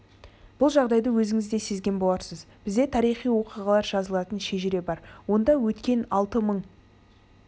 бұл жағдайды өзіңіз де сезген боларсыз бізде тарихи оқиғалар жазылатын шежіре бар онда өткен алты мың